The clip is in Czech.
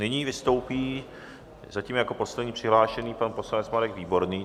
Nyní vystoupí zatím jako poslední přihlášený pan poslanec Marek Výborný.